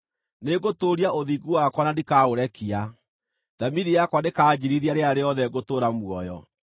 Nĩngũtũũria ũthingu wakwa na ndikaũrekia; thamiri yakwa ndĩkanjiirithia rĩrĩa rĩothe ngũtũũra muoyo.